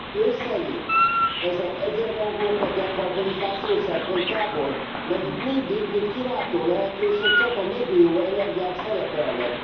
Ön szerint ezek egyenrangúak a dekarbonizáció szempontjából? Mert itt mindig, mint kiváltó lehetőségek, csak a megújuló energiák szerepelnek.